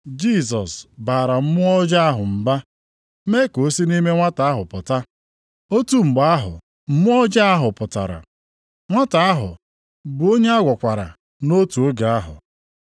Jisọs baara mmụọ ọjọọ ahụ mba, mee ka o si nʼime nwata ahụ pụta. Otu mgbe ahụ, mmụọ ọjọọ ahụ pụtara, nwata ahụ bụ onye agwọkwara nʼotu oge ahụ.